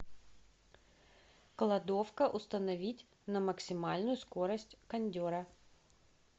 кладовка установить на максимальную скорость кондера